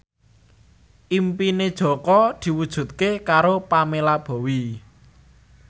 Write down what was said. impine Jaka diwujudke karo Pamela Bowie